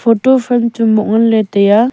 photo fame chu moh nganle taiya.